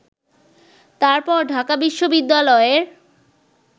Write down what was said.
তারপর ঢাকা বিশ্ববিদ্যালয়ের